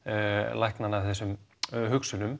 lækna hann af þessum hugsunum